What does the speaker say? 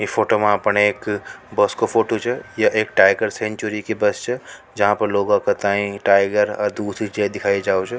या फोटो मे एक बस को फोटो छ यहां एक टाइगर सेंचुरी की बस से जहां पर लोगों बाएं टाइगर दूसरी चीज़े दिखाई जावे छ।